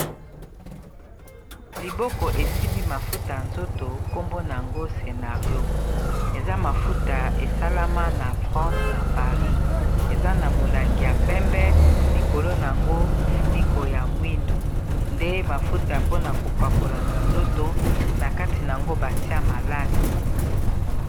Liboko esimbi mafuta ya nzoto nkombo nango scenario eza mafuta esalama na france na paris eza na molangi ya pembe likolo na yango mofuniko ya mwindu nde mafuta mpona kopakola na nzoto na kati nango batia malasi